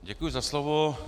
Děkuji za slovo.